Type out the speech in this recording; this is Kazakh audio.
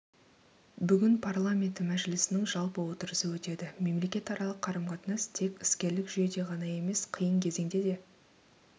бүгін парламенті мәжілісінің жалпы отырысы өтеді мемлекетаралық қарым-қатынас тек іскерлік жүйеде ғана емес қиын кезеңде де